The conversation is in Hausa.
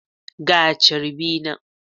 Ga charbi nan.